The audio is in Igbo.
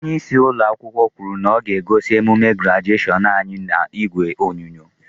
Onyeisi ụlọakwụkwọ kwuru na ọ ga-egosi emume grajeshion anyị n'ìgwè onyonyo.